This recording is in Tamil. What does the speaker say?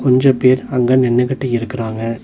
அஞ்சு பேர் அங்க நின்னுகிட்டு இருக்குறாங்க.